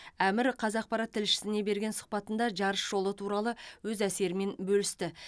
әмір қаз ақпарат тілшісіне берген сұхбатында жарыс жолы туралы өз әсерімен бөлісті